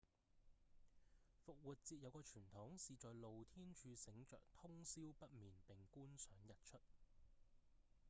復活節有個傳統是在露天處醒著通霄不眠並觀賞日出